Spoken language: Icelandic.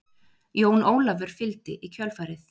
Jón Ólafur fylgdi í kjölfarið.